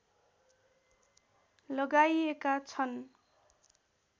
लगाइएका छन्